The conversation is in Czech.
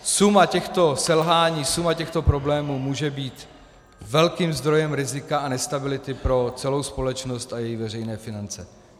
Suma těchto selhání, suma těchto problémů může být velkým zdrojem rizika a nestability pro celou společnost a její veřejné finance.